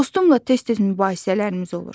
Dostumla tez-tez mübahisələrimiz olur.